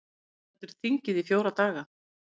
Stendur þingið í fjóra daga